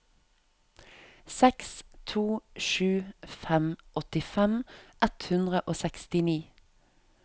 seks to sju fem åttifem ett hundre og sekstini